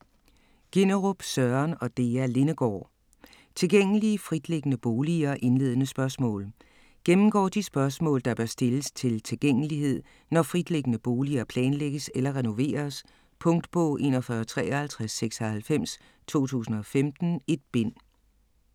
Ginnerup, Søren og Dea Lindegaard: Tilgængelige fritliggende boliger - indledende spørgsmål Gennemgår de spørgsmål, der bør stilles til tilgængelighed, når fritliggende boliger planlægges eller renoveres. Punktbog 415396 2015. 1 bind.